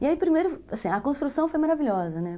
E aí, primeiro, assim, a construção foi maravilhosa, né?